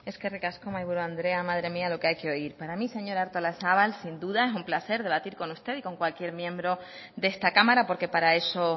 eskerrik asko mahaiburu andrea madre mía lo que hay que oír para mí señora artolazabal sin duda es un placer debatir con usted y con cualquier miembro de esta cámara porque para eso